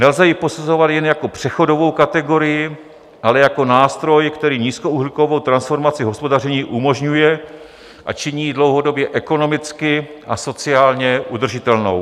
Nelze ji posuzovat jen jako přechodovou kategorii, ale jako nástroj, který nízkouhlíkovou transformaci hospodaření umožňuje a činí jí dlouhodobě ekonomicky a sociálně udržitelnou.